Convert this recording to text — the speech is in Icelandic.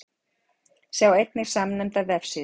Sjá einnig samnefnda vefsíðu.